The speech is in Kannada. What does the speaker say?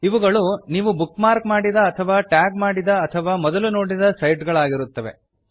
ಇವುಗಳು ನೀವು ಬುಕ್ ಮಾರ್ಕ್ ಮಾಡಿದ ಅಥವಾ ಟ್ಯಾಗ್ ಮಾಡಿದ ಅಥವಾ ಮೊದಲು ನೋಡಿದ ಸೈಟ್ ಗಳಾಗಿರುತ್ತವೆ